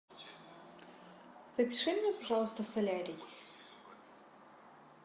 запиши меня пожалуйста в солярий